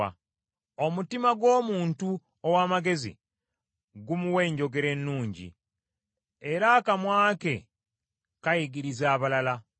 Omutima gw’omuntu ow’amagezi gumuwa enjogera ennungi, era akamwa ke kayigiriza abalala.